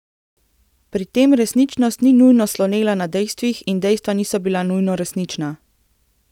Pri tem resničnost ni nujno slonela na dejstvih in dejstva niso bila nujno resnična.